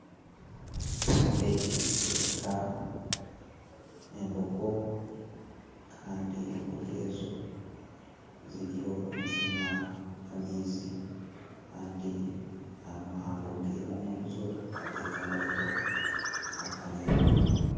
Ekyapa eki nikyoreka embogo Kandi embogo ezo ziriyo nizinywa amaizi kandi hambogo emwe omurizo hatekamireho akanyonyi